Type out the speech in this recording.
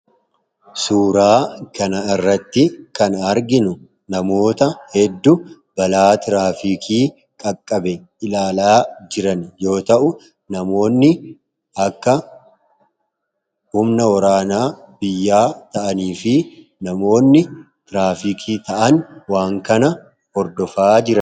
suuraa kana irratti kan arginu namoota hedduu balaa tiraafikii qaqqabe ilaalaa jiran yoo ta'u namoonni akka humna oraanaa biyyaa ta'anii fi namoonni tiraafikii ta'an waan kana ordofaa jira